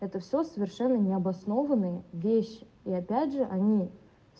это всё совершенно необоснованные вещи и опять же они